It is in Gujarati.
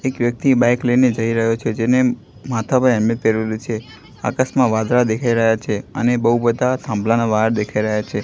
એક વ્યક્તિ બાઇક લઈને જઈ રહ્યો છે જેને માથા પર હેલ્મેટ પેહરેલુ છે આકાસમાં વાદળા દેખાઈ રહ્યા છે અને બઉ બધા થાંભલાના વાયર દેખાઇ રહ્યા છે.